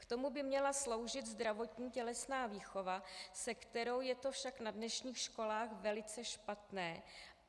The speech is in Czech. K tomu by měla sloužit zdravotní tělesná výchova, se kterou je to však na dnešních školách velice špatné.